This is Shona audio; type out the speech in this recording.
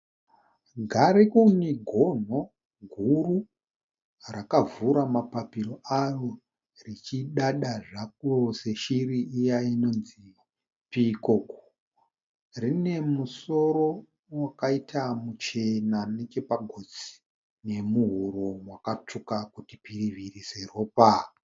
Garikuni gono guru rakavhura mapapiro aro richidada zvako seshiri iya inonzi piikoku. Rino musoro wakaita muchena nechepagotsi nemuhuro makatsvuka kuti piriviri seropa.